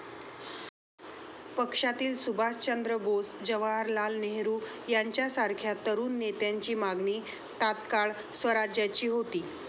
पक्षातील सुभाषचंद्र बोस, जवाहरलाल नेहरू यांच्यासारख्या तरुण नेत्यांची मागणी तात्काळ स्वराज्याची होती.